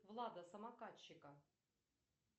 влада самокатчика